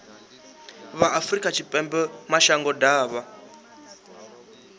vha afrika tshipembe mashango ḓavha